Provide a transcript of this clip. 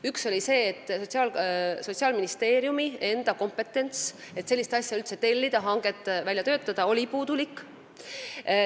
Üks oli see, et Sotsiaalministeeriumi enda kompetentsus sellise asja tellimiseks ja hanke väljatöötamiseks oli puudulik.